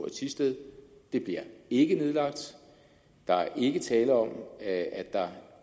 i thisted bliver ikke nedlagt der er ikke tale om at der